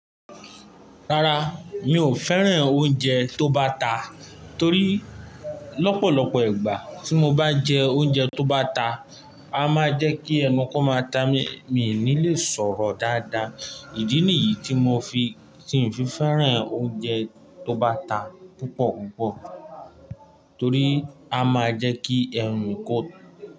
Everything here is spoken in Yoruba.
Rárá, mi ò fẹ́ràn oúnjẹ tó bá ta, torí lọ́pọ̀lọpọ̀ ìgbà tí mo bá jẹ oúnjẹ tó bá ta, a máa jẹ́ kí ẹnu kó máa ta mí, mi ò ní lè sọ̀rọ̀ dáadáa. Ìdí nìyí tí mo fi, tí ń fi fẹ́ràn oúnjẹ tó bá ta púpọ̀púpọ̀. Torí a máa jẹ́ kí ẹnu kó.